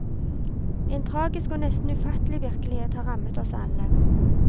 En tragisk og nesten ufattelig virkelighet har rammet oss alle.